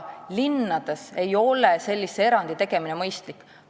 Linnades ei ole sellise erandi tegemine mõistlik.